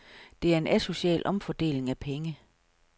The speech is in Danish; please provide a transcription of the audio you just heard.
Det er en asocial omfordeling af penge.